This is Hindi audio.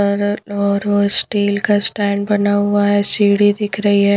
और और स्टील का स्टैंड बना हुआ है सीढ़ी दिख रही है।